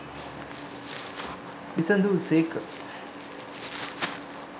විසඳු සේක.